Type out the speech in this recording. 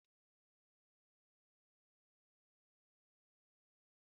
Ọ̀ bụ otú ahụ ka akụkọ ahụ si gwụ?